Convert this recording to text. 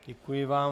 Děkuji vám.